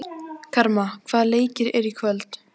Karma, hvaða leikir eru í kvöld?